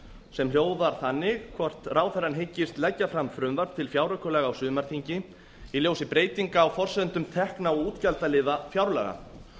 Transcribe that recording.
sem hljóðar þannig hvort ráðherrann hyggist leggja fram frumvarp til fjáraukalaga á sumarþingi í ljósi breytinga á forsendum tekna og útgjaldaliða fjárlaga